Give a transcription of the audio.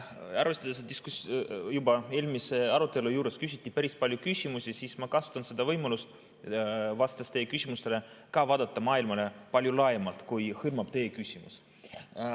Arvestades, et juba eelmise arutelu juures küsiti päris palju küsimusi, ma kasutan seda võimalust, vastates teie küsimustele, ka vaadata maailmale palju laiemalt, kui hõlmab teie küsimus.